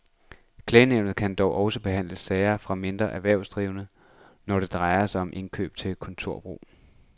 Klagenævnet kan dog også behandle sager fra mindre erhvervsdrivende, når det drejer sig om indkøb til kontorbrug.